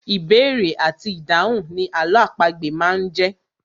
Ìbéèrè àti ìdáhùn ni àlọ́ àpagbè máa ń jẹ́.